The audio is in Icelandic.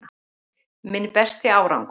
Minn besti árangur